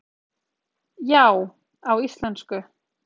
Já, á íslensku